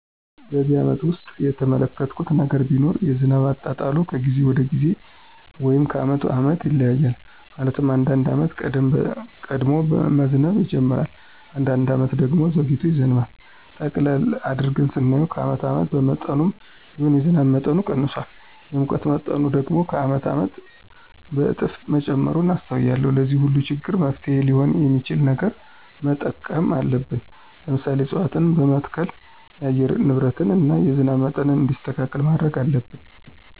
በነዚህ አመታት ውስጥ የተመለከትሁት ነገር ቢኖር የዝናብ አጣጣሉ ከጊዜ ወደ ጊዜ ወይም ከአመት አመት ይለያያል። ማለትም አንዳንድ አመት ቀድሞ መዝነብ ይጅምራል። አንዳንድ አመት ደግሞ ዘግይቶ ይዘንባል። ጠቅለል አድርገን ስናየው ከአመት አመት በመጠኑም ቢሆን የዝናብ መጠኑ ቀንሷል። የሙቀት መጠኑ ደግሞ ከአመት አመት በእጥፍ መጨመሩን አስተውያለሁ። ለዚህ ሁሉ ችግር መፍትሔ ሊሆን የሚችል ነገር መጠቀም አለብን። ለምሳሌ፦ እፅዋትን በመትከል የአየር ንብረትን እና የዝናብ መጠን እንዲስተካከል ማድረግ አለብን።